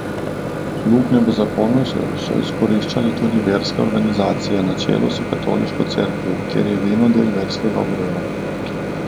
Luknje v zakonu so izkoriščale tudi verske organizacije na čelu s katoliško cerkvijo, kjer je vino del verskega obreda.